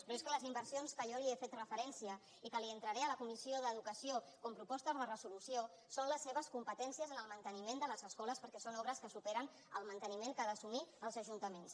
però és que les inversions a què jo li he fet referència i que li entraré a la comissió d’educació com a propostes de resolució són les seves competències en el manteniment de les escoles perquè són obres que superen el manteniment que han d’assumir els ajuntaments